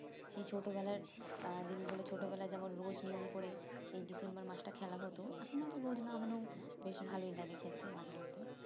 সেই ছোটবেলার আ দিন গুলো ছোটবেলায় যেমন রোজ নিয়ম করে এই December মাস টা খেলা হতো এখন ওতো রোদ না হলে বেশ ভালোই লাগে খেলতে মাঝেমধ্যে